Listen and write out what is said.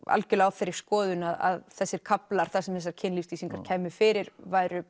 algjörlega á þeirri skoðun að þessir kaflar þar sem þessar kynlífslýsingar kæmu fyrir væru